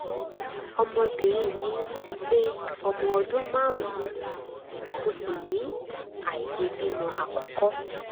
ọmọbìnrin mi ti pé ọmọ ọdún márùn-ún mo sì ní àìlèbímọ àkọ́kọ́